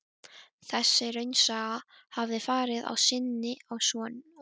Þessi raunasaga hafði farið á sinnið á honum.